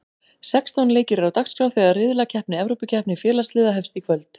Sextán leikir eru á dagskrá þegar riðlakeppni Evrópukeppni félagsliða hefst í kvöld.